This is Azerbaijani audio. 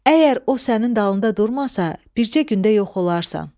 Əgər o sənin dalında durmasa, bircə gündə yox olarsan.